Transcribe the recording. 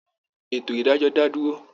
Ètò ìdájọ́ dá dúró